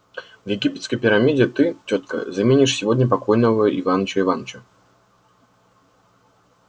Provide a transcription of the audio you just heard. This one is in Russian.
в египетской пирамиде ты тётка заменишь сегодня покойного иваныча иваныча